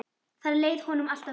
Þar leið honum alltaf best.